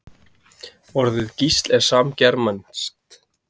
Orðið gísl er samgermanskt.